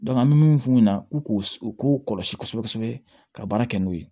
an bɛ min f'u ɲɛna u k'u u k'u kɔlɔsi kosɛbɛ kosɛbɛ ka baara kɛ n'o ye